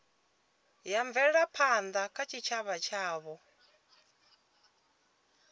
ya mvelaphanda kha tshitshavha tshavho